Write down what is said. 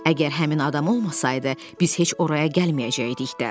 Əgər həmin adam olmasaydı, biz heç oraya gəlməyəcəydik də.